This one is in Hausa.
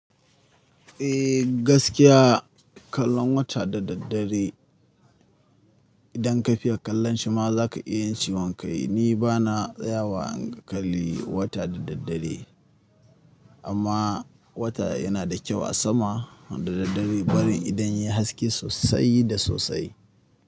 Eh gaskiya kallon wata da daddare idan ka fiya kallon shi ma za ka iya ciwon kai. Ni ba na tsaya wa in kalli wata da daddare amma wata yana da kyau a sama da daddare barin idan yai haske sosai da sosai.